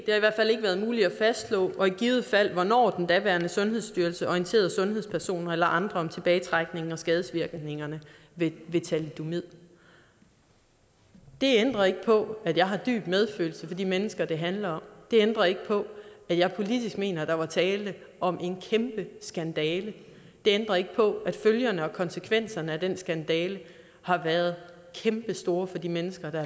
været muligt at fastslå og i givet fald hvornår om den daværende sundhedsstyrelse orienterede sundhedspersoner eller andre om tilbagetrækningen og skadesvirkningerne ved thalidomid det ændrer ikke på at jeg har dyb medfølelse for de mennesker det handler om det ændrer ikke på at jeg politisk mener at der var tale om en kæmpe skandale det ændrer ikke på at følgerne og konsekvenserne af den skandale har været kæmpestore for de mennesker der